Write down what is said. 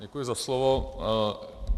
Děkuji za slovo.